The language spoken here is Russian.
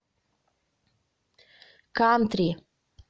кантри